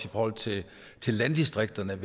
i forhold til til landdistrikterne